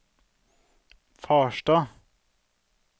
Farstad